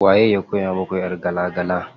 Waye ya koya muku ƴar gala gala?